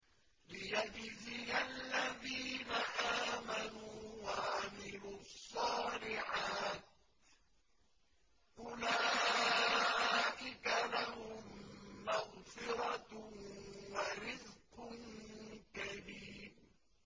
لِّيَجْزِيَ الَّذِينَ آمَنُوا وَعَمِلُوا الصَّالِحَاتِ ۚ أُولَٰئِكَ لَهُم مَّغْفِرَةٌ وَرِزْقٌ كَرِيمٌ